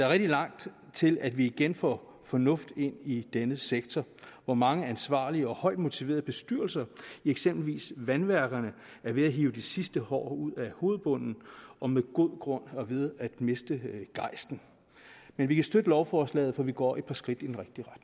rigtig langt til at vi igen får fornuft ind i denne sektor hvor mange ansvarlige og højt motiverede bestyrelser i eksempelvis vandværkerne er ved at hive de sidste hår ud af hovedbunden og med god grund er ved at miste gejsten men vi kan støtte lovforslaget for vi går et par skridt i